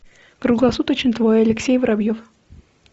круглосуточный твой алексей воробьев